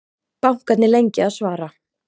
Bankarnir lengi að svara